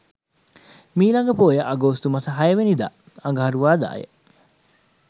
මීළඟ පෝය අගෝස්තු මස 06 වැනිදා අඟහරුවාදාය.